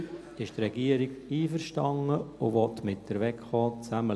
: Die Regierung ist einverstanden und will zusammen mit der WEKO schauen.